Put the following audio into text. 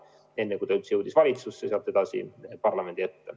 Alles pärast seda jõudis eelnõu valitsusse ja sealt edasi parlamendi ette.